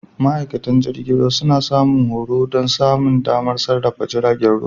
Ma'aikatan jirgin ruwa suna samun horo don samun damar sarrafa jiragen ruwa.